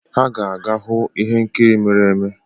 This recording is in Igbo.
Ha ga-aga hụ ihe nkiri mere eme.